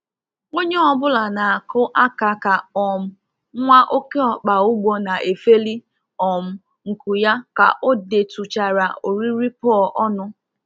Onye ọ bụla na-akụ aka ka um nwa oke ọkpa ugbo na-efeli um nku ya ka ọ detụchara oriri pour ọnụ